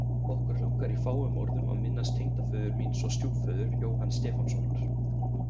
Okkur langar í fáum orðum að minnast tengdaföður míns og stjúpföður, Jóhanns Stefánssonar.